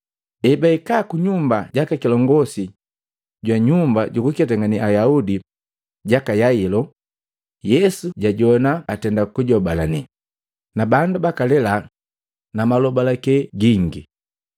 Hebahika kunyumba jaka kilongosi jwa nyumba jukuketangane Ayaudi jaka Yailo, Yesu jajoana atenda kujobalane, na bandu bakalela na malobalake gingi.